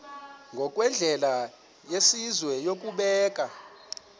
ngokwendlela yesizwe yokubeka